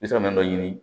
N bɛ se ka min dɔ ɲini